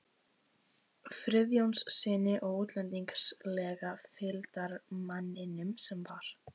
Friðjónssyni og útlendingslega fylgdarmanninum sem var